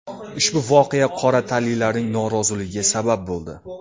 Ushbu voqea qora tanlilarning noroziligiga sabab bo‘ldi.